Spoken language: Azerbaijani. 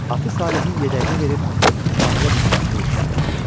Atı Salehin yedəyinə verib sahilə düşməsini işarə etdi.